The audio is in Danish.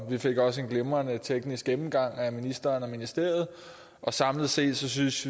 vi fik også en glimrende teknisk gennemgang af ministeren og ministeriet samlet set synes